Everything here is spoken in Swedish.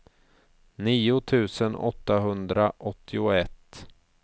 nio tusen åttahundraåttioett